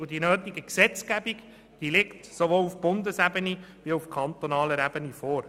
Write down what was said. Die nötige Gesetzgebung zur Stromversorgung liegt sowohl auf Bundesebene als auch auf kantonaler Ebene vor.